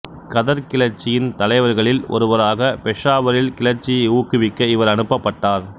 கதர் கிளர்ச்சியின் தலைவர்களில் ஒருவராக பெசாவரில் கிளர்ச்சியை ஊக்குவிக்க இவர் அனுப்பப்பட்டார்